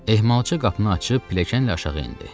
Ehmalcı qapını açıb pilləkənlə aşağı endi.